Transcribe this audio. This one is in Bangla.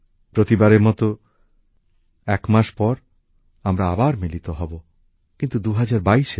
প্রতিবারের মতো এবারও এক মাস পর আমরা আবার মিলিত হবো কিন্তু ২০২২এ